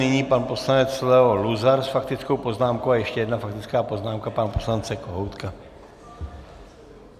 Nyní pan poslanec Leo Luzar s faktickou poznámkou a ještě jedna faktická poznámka pana poslance Kohoutka.